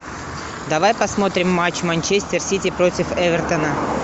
давай посмотрим матч манчестер сити против эвертона